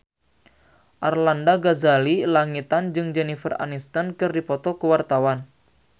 Arlanda Ghazali Langitan jeung Jennifer Aniston keur dipoto ku wartawan